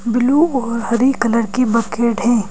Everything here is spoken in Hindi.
ब्लू और हरी कलर की बकेट है।